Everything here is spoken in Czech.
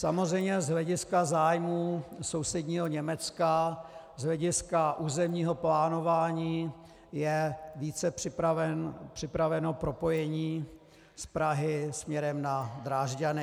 Samozřejmě z hlediska zájmů sousedního Německa, z hlediska územního plánování je více připraveno propojení z Prahy směrem na Drážďany.